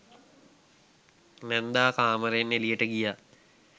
නැන්දා කාමරයෙන් එළියට ගියා.